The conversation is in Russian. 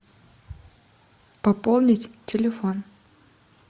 пополнить телефон